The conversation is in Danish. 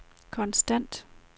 konstant